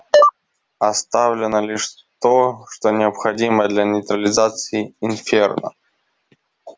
оставлено лишь то что необходимо для нейтрализации инферно